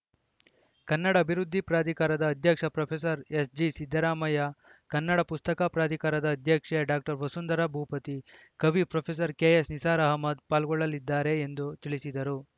ಕನ್ನಡ ಅಭಿವೃದ್ಧಿ ಪ್ರಾಧಿಕಾರದ ಅಧ್ಯಕ್ಷ ಪ್ರೊಫೆಸರ್ ಎಸ್‌ಜಿಸಿದ್ದರಾಮಯ್ಯ ಕನ್ನಡ ಪುಸ್ತಕ ಪ್ರಾಧಿಕಾರದ ಅಧ್ಯಕ್ಷೆ ಡಾಕ್ಟರ್ ವಸುಂಧರಾ ಭೂಪತಿ ಕವಿ ಪ್ರೊಫೆಸರ್ ಕೆಎಸ್‌ನಿಸಾರ್‌ ಅಹಮದ್‌ ಪಾಲ್ಗೊಳ್ಳಲಿದ್ದಾರೆ ಎಂದು ತಿಳಿಸಿದರು